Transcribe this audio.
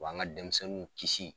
A b'an ka denmisɛnninw kisi